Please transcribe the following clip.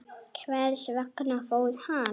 Hvers vegna fór hann?